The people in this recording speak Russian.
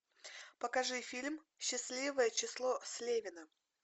покажи фильм счастливое число слевина